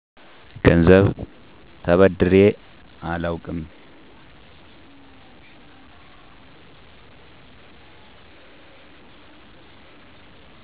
ገንዘብ ተበድሬ አላዉቅም